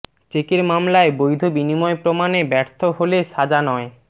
চেকের মামলায় বৈধ বিনিময় প্রমাণে ব্যর্থ হলে সাজা নয়